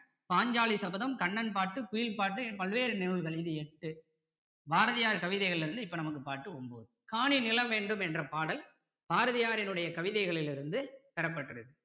பாஞ்சாலி சபதம் கண்ணன் பாட்டு குயில் பாட்டு பல்வேறு நூல்களில் எட்டு பாரதியார் கவிதைகளில் இருந்து இப்போ நமக்கு பாடல் ஒன்பது காணி நிலம் வேண்டும் என்ற பாடல் பாரதியாரின்னுடைய கவிதைகளிலிருந்து பெறப்பட்டது